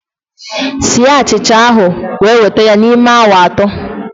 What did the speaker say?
sie achicha ahụ wee weta ya n'ime awa atọ!